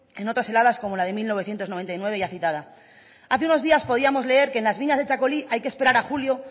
en otras heladas como la de mil novecientos noventa y nueve ya citada hace unos días podíamos leer que en las viñas de txakoli hay que esperar a julio